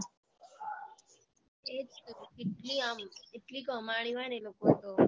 એ જ તો કેટલી આમ કેટલી કમાણી હોય ને એ લોકોને તો